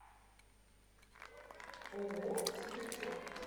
ооо сибирячок